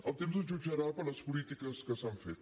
el temps ens jutjarà per les polítiques que s’han fet